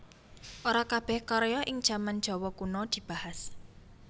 Ora kabèh karya ing jaman Jawa Kuna dibahas